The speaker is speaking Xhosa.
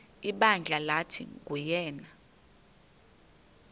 ibandla lathi nguyena